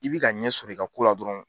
I b'i ka ɲɛ sɔrɔ i ka kola dɔrɔn.